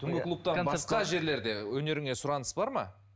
түнгі клубтан басқа жерлерде өнеріңе сұраныс бар ма